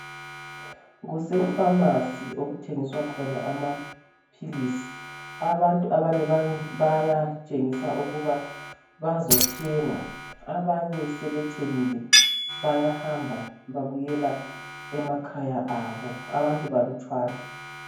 KusePhamacy okuthengiswa khona amaphilisi abantu abanye bayatshengisa ukuba bazothenga abanye sebethengile bayahamba babuyela emakhaya abo abantu balutshwana